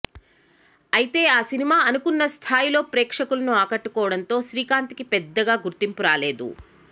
అయితే ఆ సినిమా అనుకున్న స్థాయిలో ప్రేక్షకులను ఆకట్టుకోవడంతో శ్రీకాంత్ కి పెద్దగా గుర్తింపు రాలేదు